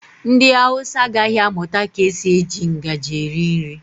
Ndị Hausa agaghị amụta ka esi eji ngaji eri nri.